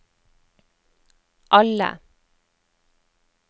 alle